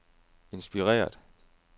inspireret